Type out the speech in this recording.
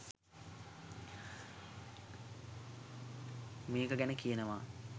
මේක ගැන කියනවා